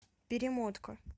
перемотка